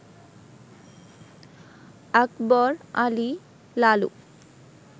Akbar Ali Lalu